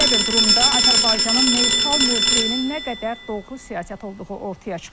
Belə bir durumda Azərbaycanın neytral mövqeyinin nə qədər doğru siyasət olduğu ortaya çıxır.